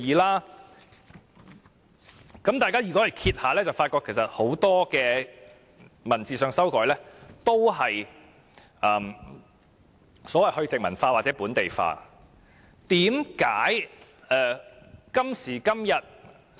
如果大家翻閱法例，便會發覺其實很多文字上的修改，都是"去殖民化"或"本地化"。